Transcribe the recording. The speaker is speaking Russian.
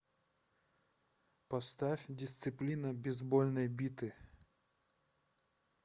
поставь дисциплина безбольной биты